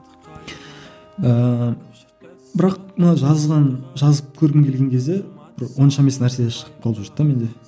ыыы бірақ мына жазған жазып көргім келген кезде бір онша емес нәрселер шығып қалып жүрді де менде